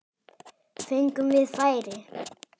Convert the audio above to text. Fengum við færi?